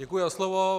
Děkuji za slovo.